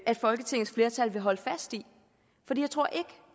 at folketingets flertal vil holde fast i